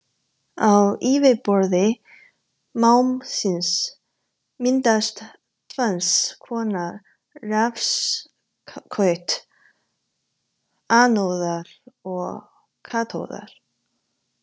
Á yfirborði málmsins myndast tvenns konar rafskaut, anóða og katóða.